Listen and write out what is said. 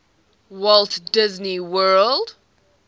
walt disney world